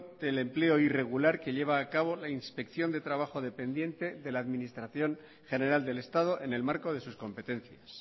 del empleo irregular que lleva a cabo la inspección de trabajo dependiente de la administración general del estado en el marco de sus competencias